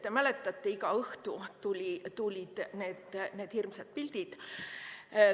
Te mäletate, et iga õhtu tulid need hirmsad pildid.